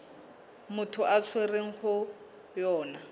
motho a tshwerweng ho yona